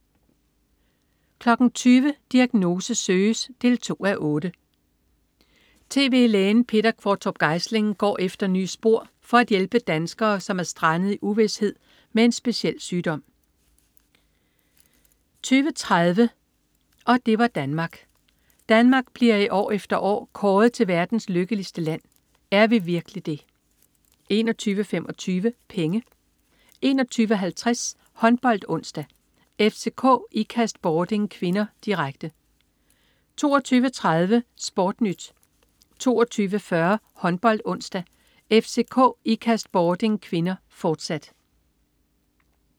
20.00 Diagnose søges 2:8. Tv-lægen Peter Qvortrup Geisling går efter nye spor for at hjælpe danskere, som er strandet i uvished med en speciel sygdom 20.30 Og det var Danmark. Danmark bliver år efter år kåret til verdens lykkeligste land. Er vi virkelig det? 21.25 Penge 21.50 HåndboldOnsdag: FCK-Ikast-Bording (k), direkte 22.30 SportNyt 22.40 HåndboldOnsdag: FCK-Ikast-Bording (k), fortsat